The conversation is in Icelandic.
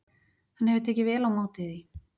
Hann hefur tekið vel á móti því.